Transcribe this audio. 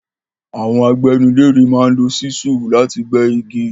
Àwọn agbẹ́gilére máa ń lo ṣísúù láti gbẹ́ igi.